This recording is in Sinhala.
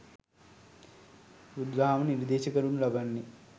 බුදුදහම නිර්දේශ කරනු ලබන්නේ